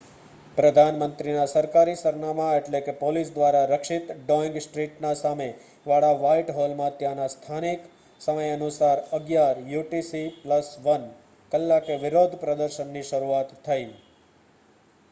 પ્રધાન મંત્રીના સરકારી સરનામા એટલે કે પોલીસ દ્વારા રક્ષિત ડોઈંગ સ્ટ્રીટ ના સામે વાળા વ્હાઇટ હોલમાં ત્યાંના સ્થાનિક સમય અનુસાર 11:00 યુ. ટી. સી.+1 કલાકે વિરોધ પ્રદર્શન ની શરૂઆત થઇ